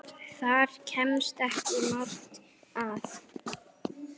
Þar kemst ekki margt að.